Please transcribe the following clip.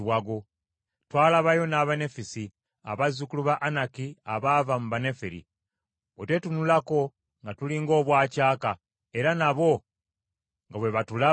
Twalabayo n’Abanefisi, abazzukulu ba Anaki abava mu Banefiri. Bwe twetunulako nga tuli ng’obwacaaka, era nabo nga bwe batulaba bwe batyo.”